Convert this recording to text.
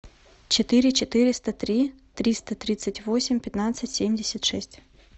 четыре четыреста три триста тридцать восемь пятнадцать семьдесят шесть